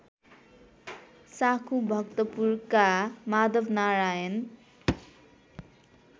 साँखु भक्तपुरका माधवनारायण